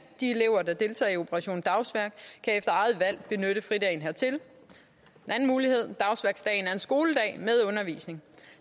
de elever der deltager i operation dagsværk kan efter eget valg benytte fridagen hertil den anden mulighed er at dagsværksdagen er en skoledag med undervisning